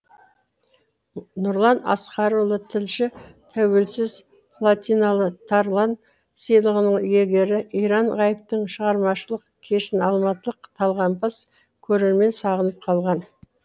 нұрлан асқарұлы тілші тәуелсіз платиналы тарлан сыйлығының иегері иран ғайыптың шығармашылық кешін алматылық талғампаз көрермен сағынып қалған